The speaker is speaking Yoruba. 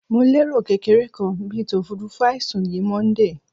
Mo lero kekere kan bit ofurufu aisun yi Monday